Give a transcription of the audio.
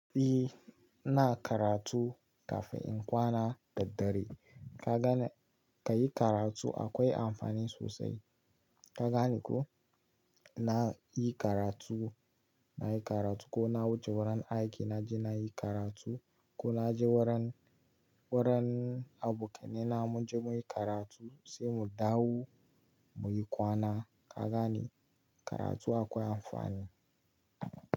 E, ina karatu kafin in kwana daddare. Ka gane ka yi karatu akwai amfani sosai. Ka gane ko? Na yi karatu, na yi karatu ko na wuce wurin aiki na je na yi karatu ko na je wurin, wurin abokanaina mun je muyi karatu sai mu dawo muyi kwana. Ka gani? Karatu akwai amfani.